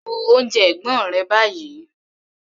Bu oúnjẹ ẹ̀gbọ́n rẹ báyìí!